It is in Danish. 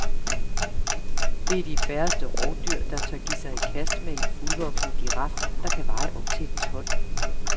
Det er de færreste rovdyr, der tør give sig i kast med en fuldvoksen giraf, der kan veje op til et ton.